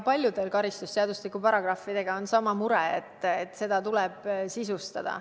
Paljude karistusseadustiku paragrahvidega on sama mure, et neid tuleb sisustada.